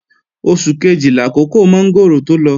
Oṣù kejì làkókò mọ́ngòrò tó lọ